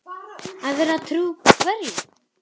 Að vera trú hverju?